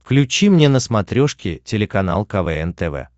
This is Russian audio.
включи мне на смотрешке телеканал квн тв